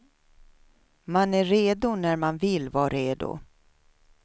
Man är redo när man vill vara redo.